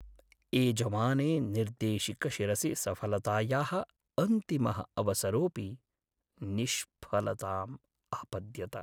एजमाने निर्देशकशिरसि सफलतायाः अन्तिमः अवसरो‍ऽपि निष्फलताम् आपद्यत।